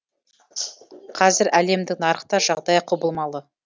қазір әлемдік нарықта жағдай құбылмалы